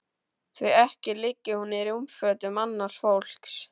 Því ekki liggi hún í rúmfötum annars fólks.